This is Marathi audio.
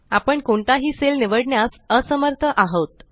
आपण कोणताही सेल निवडण्यास असमर्थ आहोत